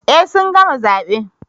Eh sun gama zabe